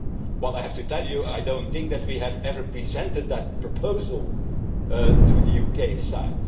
Well I have to tell you that I don't think that we have ever presented that proposal to the UK side.